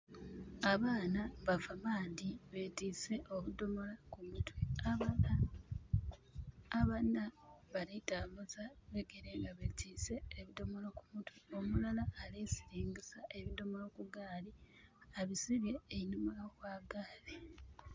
Abaana bava maadhi betiise obudhomolo ku mutwe. Abana, abana bali tambuza bigere nga betiise ebidhomolo ku mutwe. Omulala ali siringisa ebidhomolo ku gaali. Abisibye enhuma gha gaali.